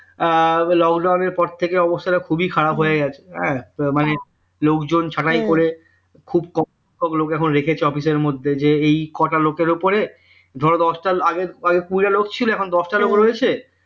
lockdown এর পর থেকে অবস্থাটা খুবই খারাপ হয়ে গেছে হ্যাঁ তার মানে লোকজন ছাঁটাই করে খুব কম কম লোকএখন রেখেছে office এর মধ্যে যে এই কটা লোকের উপরে ধরো দশটা লোক ছিল আগে এখন দশটা লোক রয়েছে